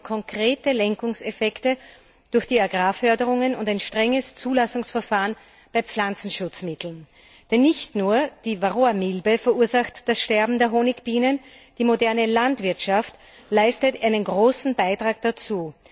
Wir brauchen konkrete Lenkungseffekte durch die Agrarförderungen und ein strenges Zulassungsverfahren bei Pflanzenschutzmitteln. Denn nicht nur die Varroamilbe verursacht das Sterben der Honigbienen, die moderne Landwirtschaft leistet einen großen Beitrag dazu.